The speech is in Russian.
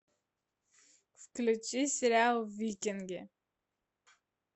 включи сериал викинги